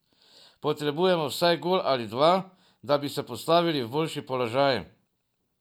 Potrebujemo vsaj gol ali dva, da bi se postavili v boljši položaj.